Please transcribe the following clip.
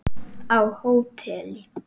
Á hóteli?